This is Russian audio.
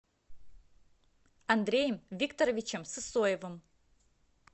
андреем викторовичем сысоевым